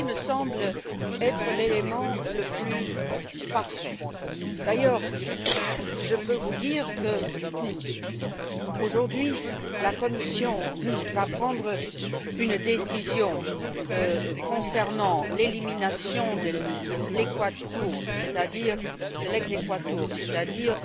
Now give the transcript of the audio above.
Ceci me semble être l'élément le plus important. D'ailleurs, je peux vous dire qu'aujourd'hui la Commission va prendre une décision concernant l'élimination de l' exequatur c'est à dire